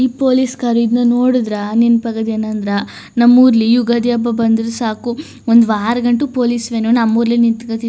ಈ police car ನೋಡಿದ್ರ ನೆನಪಾಗೋದು ಏನಂದ್ರ ನಮ್ಮೂರ್ಲಿ ಯುಗಾದಿ ಹಬ್ಬ ಬಂದ್ರೆ ಸಾಕು ಒಂದು ವಾರ ಗಂಟ ಪೊಲೀಸ್ ವ್ಯಾನ್ ನಮ್ಮೂರ್ಲೆ ನಿಂತ್ಕತಿ--